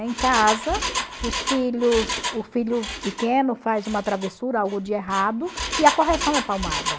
Em casa, os filhos o filho pequeno faz uma travessura, algo de errado, e a correção é palmada.